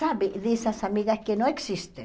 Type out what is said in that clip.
Sabe, dessas amigas que não existem.